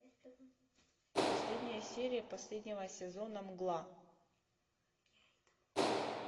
последняя серия последнего сезона мгла